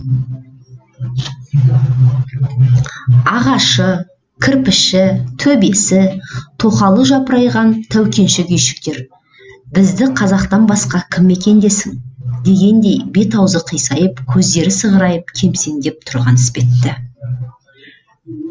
ағашы кірпіші төбесі тоқалы жапырайған тәукеншік үйшіктер бізді қазақтан басқа кім мекендесін дегендей бет аузы қисайып көздері сығырайып кемсеңдеп тұрған іспетті